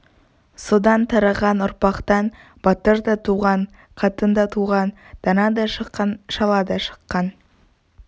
содан тараған ұрпақтан батыр да туған қатын да туған дана да шыққан шала да шыққан